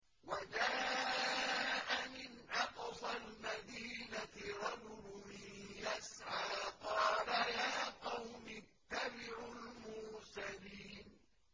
وَجَاءَ مِنْ أَقْصَى الْمَدِينَةِ رَجُلٌ يَسْعَىٰ قَالَ يَا قَوْمِ اتَّبِعُوا الْمُرْسَلِينَ